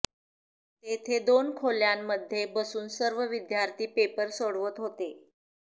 तेथे दोन खोल्यांमध्ये बसून सर्व विद्यार्थी पेपर सोडवत होते